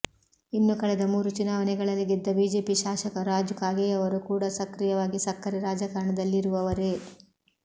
ಇನ್ನು ಕಳೆದ ಮೂರು ಚುನಾವಣೆಗಳಲ್ಲಿ ಗೆದ್ದ ಬಿಜೆಪಿ ಶಾಸಕ ರಾಜು ಕಾಗೆಯವರು ಕೂಡ ಸಕ್ರಿಯವಾಗಿ ಸಕ್ಕರೆ ರಾಜಕಾರಣದಲ್ಲಿರುವವರೇ